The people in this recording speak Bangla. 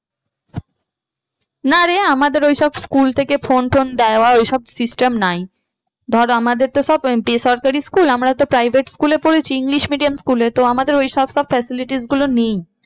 না রে আমাদের ওই সব school থেকে phone টোন দেওয়া ওই সব system নাই। ধর আমাদের তো সব বেসরকারি school আমরা তো private school এ পড়েছি english medium school তো আমাদের ওইসব facilities গুলো নেই।